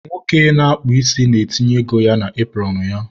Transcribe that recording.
nwoke na-akpụ isi na-etinye ego ya na epụrọnụ ya